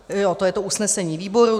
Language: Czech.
Jo, to je to usnesení výboru...